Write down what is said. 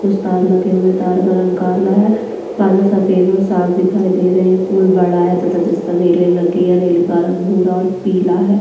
कुछ तार लगे हुए हैं तार का रंग काला है बादल सफेद और साफ दिखाई दे रहे हैं पूल बड़ा है तथा जिस पर रेली लगी है रेली का रंग भूरा और पीला है।